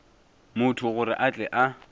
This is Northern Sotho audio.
motho gore a tle a